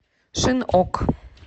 шин ок